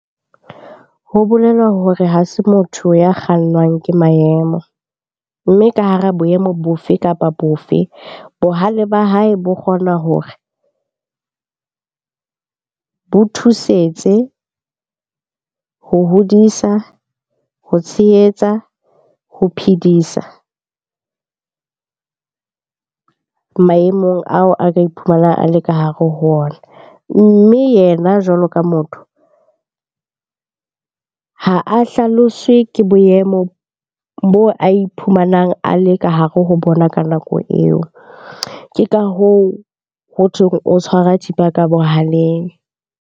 Ho bolela hore ha se motho ya kgannwang ke maemo, mme ka hara boemo bofe kapa bofe? Bohale ba hae bo kgona hore bo thusetse ho hodisa, ho tshehetsa, ho phedisa maemong ao a ka iphumanang a le ka hare ho ona. Mme yena jwalo ka motho, ha a hlaloswe ke boemo boo a iphumanang a le ka hare ho bona ka nako eo. Ke ka hoo hothweng o tshwara thipa ka bohaleng.